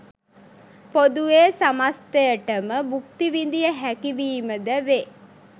පොදුවේ සමස්තයට ම භුක්ති විඳිය හැකි වීම ද වේ.